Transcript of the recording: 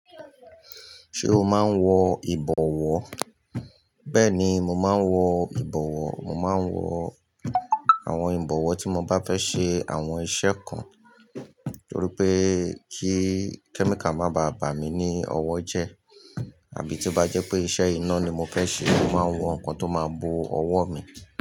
Ṣé o máa ń wọ ìbọ̀wọ́? Bẹ́ẹ̀ni, mo máa ń wọ ìbọ̀wọ́. Mo máa ń wọ àwọn ìbọ̀wọ́ tí mo bá fẹ́ ṣe àwọn iṣẹ́ kan, torí pé kí kẹ́míkà má bá à bà mí ní ọwọ́ jẹ, àbí tí ó bá jẹ́ pé iṣẹ́ iná ni mo fẹ ṣe, mo máa ń wọ nǹkan tó máa bo ọwọ́ mi.